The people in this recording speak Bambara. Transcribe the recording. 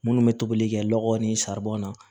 Minnu bɛ tobili kɛ nɔgɔ ni na